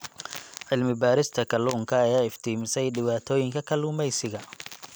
Cilmi-baarista kalluunka ayaa iftiimisay dhibaatooyinka kalluumeysiga.